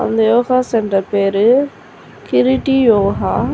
அந்த yoga centre பேரு கிருட்டி யோகா .